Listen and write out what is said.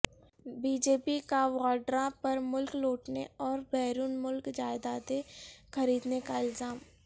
be J P کا واڈرا پر ملک لوٹنے اور بیرون ملک جائیدادیں خریدنے کا الزام